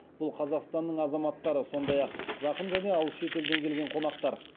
бұл қазақстанның азаматтары сондай ақ жақын және алыс шетелден келген қонақтар